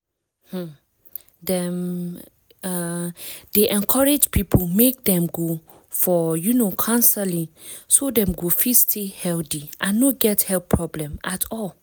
um dem um dey encourage people make dem go for um counseling so dem go fit stay healthy and no get health problem at all.